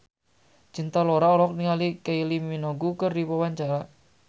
Cinta Laura olohok ningali Kylie Minogue keur diwawancara